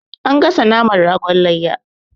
An gasa naman ragon layya.